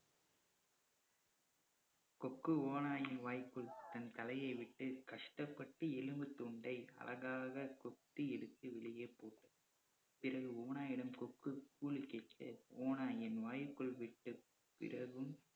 கொக்கு ஓநாயின் வாய்க்குள் தன் தலையை விட்டு கஷ்டப்பட்டு எலும்புத் துண்டை அழகாக கொத்தி எடுத்து வெளியே போட்டது. பிறகு ஓநாயிடம் கொக்கு கூலி கேட்க ஓநாய் என் வாய்க்குள் விட்ட பிறகும்